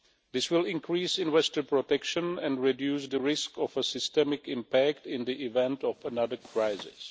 This will increase investor protection and reduce the risk of a systemic impact in the event of another crisis.